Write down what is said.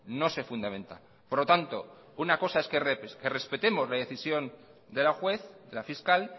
no se fundamenta por lo tanto una cosa es que respetemos la decisión de la juez la fiscal